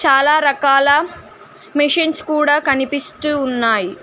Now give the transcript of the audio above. చాలా రకాల మెషిన్స్ కూడా కనిపిస్తూ ఉన్నాయ్.